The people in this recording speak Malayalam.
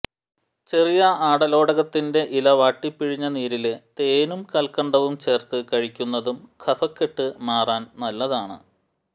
ചെറിയ ആടലോടകത്തിന്റെ ഇല വാട്ടിപ്പിഴിഞ്ഞ നീരില് തേനും കല്ക്കണ്ടവും ചേര്ത്ത് കഴിക്കുന്നതും കഫക്കെട്ട് മാറാന് നല്ലതാണ്